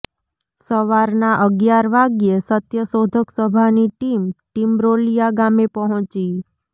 સવારના અગિયાર વાગ્યે સત્યશોધક સભાની ટીમ ટીમરોલીયા ગામે પહોંચી